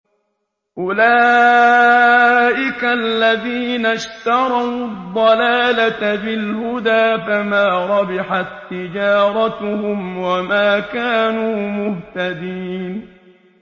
أُولَٰئِكَ الَّذِينَ اشْتَرَوُا الضَّلَالَةَ بِالْهُدَىٰ فَمَا رَبِحَت تِّجَارَتُهُمْ وَمَا كَانُوا مُهْتَدِينَ